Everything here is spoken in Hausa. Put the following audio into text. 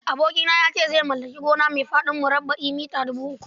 Abokina ya ce zai mallaki gona mai faɗin murabba'i mita dubu uku.